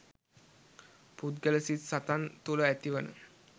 පුද්ගල සිත් සතන් තුළ ඇතිවන